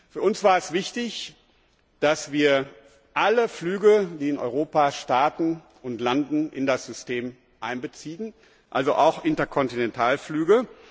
Für uns war es wichtig, dass wir alle Flüge, die in Europa starten und landen, in das System einbeziehen, also auch Interkontinentalflüge.